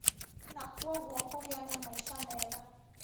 Na kwoguo kũgĩa na maica mega